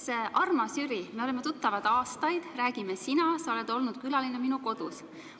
Ma ütleks, armas Jüri, me oleme tuttavad aastaid, räägime sina, sa oled olnud külaline minu kodus.